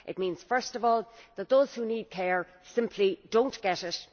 It means, first of all, that those who need care simply do not get it.